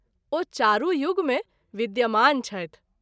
ओ चारू युग मे विद्यमान छथि।